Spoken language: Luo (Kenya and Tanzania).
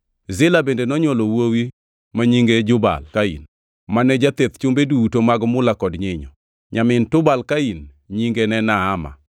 Zila bende nonywolo wuowi ma nyinge Jubal-Kain, mane jatheth chumbe duto mag mula kod nyinyo. Nyamin Tubal-Kain nyinge ne Naama.